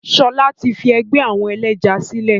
Sọlá tí fi ẹgbẹ́ àwọn ẹlẹ́ja sílẹ̀